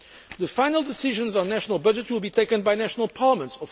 The final decisions on national budgets will, of course, be taken by national parliaments.